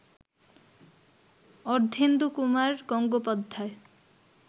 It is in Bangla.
অর্ধেন্দুকুমার গঙ্গোপাধ্যায়